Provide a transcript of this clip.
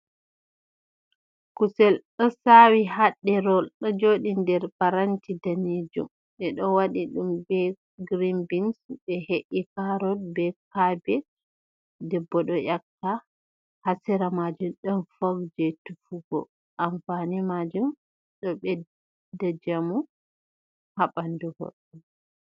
Kusel ɗo sawi ha ɗerewol ɗo joɗi nder paranti daneejum. Ɓe ɗo waɗi ɗum be girin bins, ɓe he’i karot be kabej, debbo ɗo ƴakka. Ha sera maajum ɗon fok jei tufugo. Amfani maajum ɗo ɓedda njamu ha ɓandu goɗɗo.